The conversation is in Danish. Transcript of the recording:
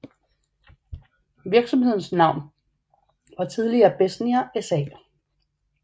Virksomhedens navn var tidligere Besnier SA